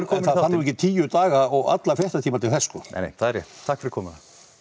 þarf nú ekki tíu daga og alla frétta tíma til þess sko nei það er rétt takk fyrir komuna